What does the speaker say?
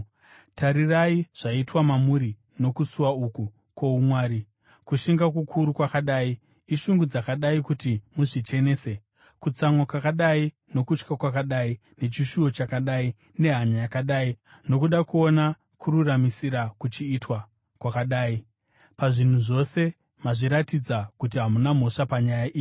Tarirai zvaitwa mamuri nokusuwa uku kwoumwari: kushinga kukuru kwakadii, ishungu dzakadii kuti muzvichenese, kutsamwa kwakadii nokutya kwakadii nechishuvo chakadii, nehanya yakadii, nokuda kuona kururamisira kuchiitwa kwakadii. Pazvinhu zvose mazviratidza kuti hamuna mhosva panyaya iyi.